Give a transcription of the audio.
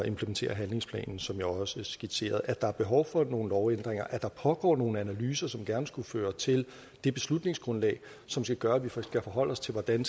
implementere handlingsplanen som jeg også skitserede at der er behov for nogle lovændringer at der pågår nogle analyser som gerne skulle føre til det beslutningsgrundlag som skal gøre at vi kan forholde os til hvordan